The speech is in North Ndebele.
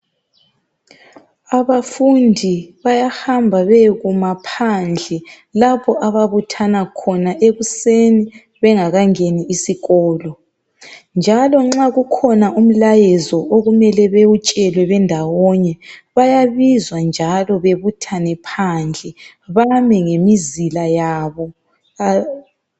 Abafundi bayahamba bayekuma phandle lapho ababuthana khona ekuseni bengakangeni isikolo. Njalo nxa kukhona umlayezo okumele bewutshelwe bendawonye, bayabizwe njalo bebuthane phandle bame ngemizila yabo.